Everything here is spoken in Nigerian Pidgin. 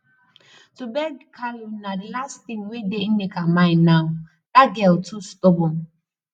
to go beg kalu na the last thing wey dey nneka mind now that girl too stubborn